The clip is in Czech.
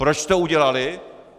Proč to udělali?